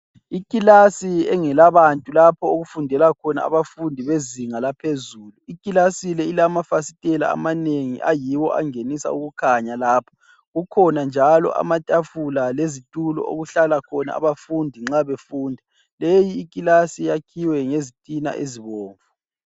Ikilasi engelabantu lapho okufundela khona abafundi bezinga laphezulu. Ikilasi le ilamafasitela amanengi ayiwo angenisa ukukhanya lapha. Kukhona njalo amatafula amanengi kukhona njalo amatafula lezitulo okuhlala khona abafundi nxa befunda. Leyikilasi yakhiwe ngezitina ezibomvu.